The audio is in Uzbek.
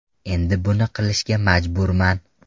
Endi buni qilishga majburman.